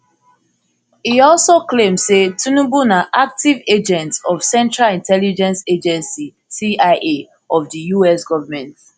e also claim say tinubu na active agent of central intelligence agency cia of di us goment